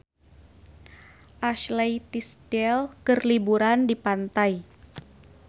Ashley Tisdale keur liburan di pantai